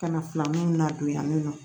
Kana filani nadon yan nɔ